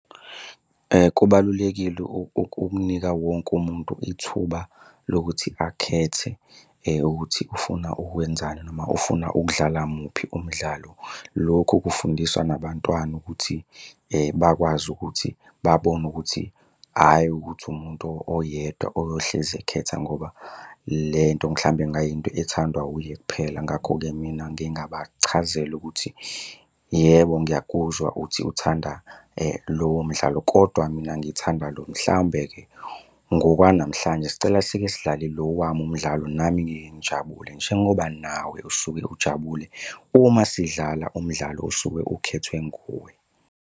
Kubalulekile ukunika wonke umuntu ithuba lokuthi akhethe ukuthi ufuna ukwenzani noma ufuna ukudlala muphi umdlalo. Lokhu kufundiswa nabantwana ukuthi bakwazi ukuthi babone ukuthi hhayi ukuthi umuntu oyedwa oyohlezi ekhetha ngoba le nto mhlawumbe kungayinto ethandwa uye kuphela. Ngakho-ke mina ngingabachazela ukuthi yebo ngiyakuzwa uthi uthanda lowo mdlalo, kodwa mina ngithanda lo. Mhlawumbe-ke ngokwanamhlanje sicela sike sidlale lo wami umdlalo nami ngike ngijabule njengoba nawe usuke ujabule uma sidlala umdlalo osuke ukhethwe nguwe.